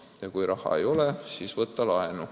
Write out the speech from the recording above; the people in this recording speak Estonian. Ja kui raha ei ole, siis võta laenu.